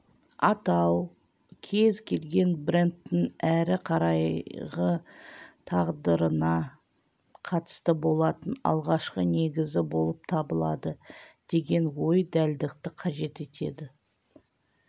атау кез келген брендтің әрі қарайғы тағдырына қатысты болатын алғашқы негізі болып табылады деген ой дәлдікті қажет етеді